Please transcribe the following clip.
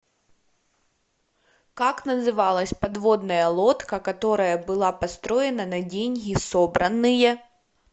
как называлась подводная лодка которая была построена на деньги собранные